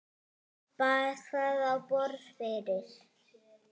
Bar það á borð fyrir